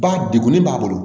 Ba degunnen b'a bolo